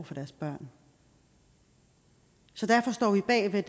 for deres børn så derfor står vi bag ved